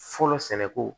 Fɔlɔ sɛnɛko